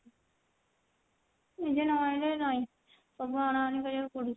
ନିଜେ ନ ଆଣିଲେ ନାଇଁ ସବୁ ଅଣା ଅଣି କରିବାକୁ ପଡୁଛି।